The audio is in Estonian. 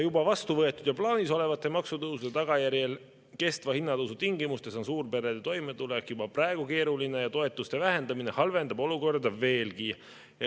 Vastu võetud ja plaanis olevate maksutõusude tagajärjel kestva hinnatõusu tingimustes on suurperede toimetulek juba praegu keeruline ja toetuste vähendamine halvendab olukorda veelgi.